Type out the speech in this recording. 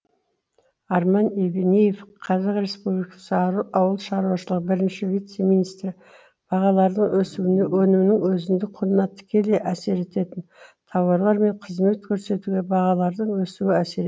арман евнеев қазақ республика ауыл шаруашылығы бірінші вице министрі бағалардың өсуіне өнімнің өзіндік құнына тікелей әсер ететін тауарлар мен қызмет көрсетуге бағалардың өсуі әсер